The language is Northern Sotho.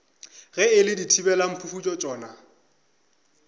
ge e le dithibelamphufutšo tšona